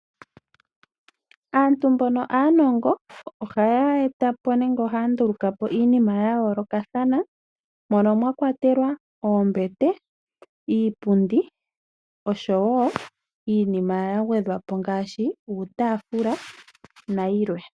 Aantu mbono aanongo ohaya eta po nenge ohaya nduluka po iinima ya yoolokathana. Mono mwa kwatelwa oombete , iipundi oshowo iinima ya gwedhwa po ngaashi uutaafula nayilwe.